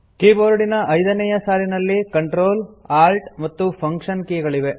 ಕೀಬೋರ್ಡಿನ ಐದನೇಯ ಸಾಲಿನಲ್ಲಿ Ctrl Alt ಮತ್ತು ಫಂಕ್ಷನ್ ಕೀ ಗಳಿವೆ